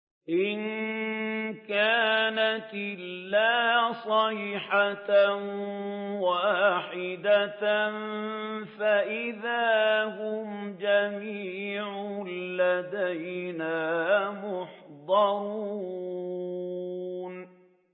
إِن كَانَتْ إِلَّا صَيْحَةً وَاحِدَةً فَإِذَا هُمْ جَمِيعٌ لَّدَيْنَا مُحْضَرُونَ